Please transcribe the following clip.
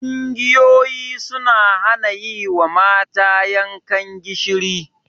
Ƙungiyoyi suna hana yi wa mata yankan gishiri.